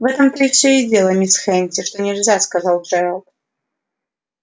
в этом-то всё и дело мисс хэтти что нельзя сказал джералд